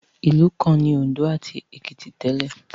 Ìlú kan ni Òǹdó ati Èkìtì tẹ́lẹ̀